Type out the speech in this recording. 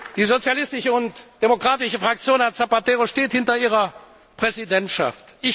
Die Sozialistische und Demokratische Fraktion, Herr Zapatero, steht hinter Ihrer Präsidentschaft.